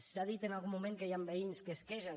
s’ha dit en algun moment que hi han veïns que es queixen